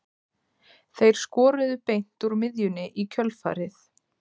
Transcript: Þeir skoruðu beint úr miðjunni í kjölfarið.